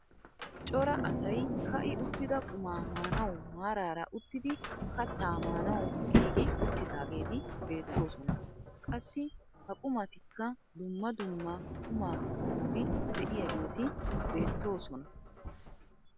Cora asay ka'i uttida qumaa maanawu maarara uttidi kattaa maanawu giigi uttidaageti beettoosona. qassi ha qumatikka dumma dumma qumaa qommoti de'iyaageti beettoosona.